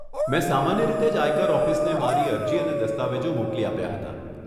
મેં સામાન્ય રીતે જ આયકર ઓફિસને મારી અરજી અને દસ્તાવેજો મોકલી આપ્યાં હતાં.